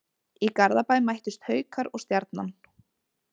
Í Garðabæ mættust Haukar og Stjarnan.